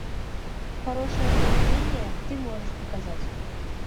хорошее поведение ты можешь показать